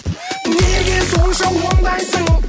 неге сонша ондайсың